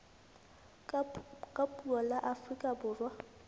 ka puo la afrika borwa